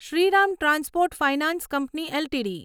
Shriram transport finance company LTD